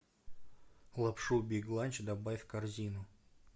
лапшу биг ланч добавь в корзину